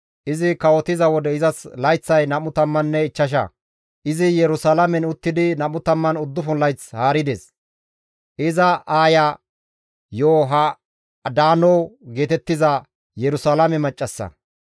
Izi kawotiza wode izas layththay 25; izi Yerusalaamen uttidi 29 layth haarides; iza aaya Yoha7adaano geetettiza Yerusalaame maccassa.